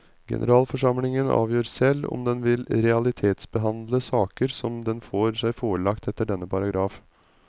Generalforsamlingen avgjør selv om den vil realitetsbehandle saker som den får seg forelagt etter denne paragraf.